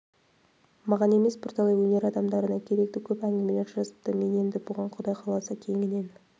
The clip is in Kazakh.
маған емес бірталай өнер адамдарына керекті көп әңгімелер жазыпты мен енді бұған құдай қаласа кеңінен